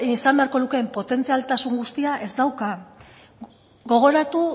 izan beharko lukeen potentzialtasun guztia ez dauka gogoratu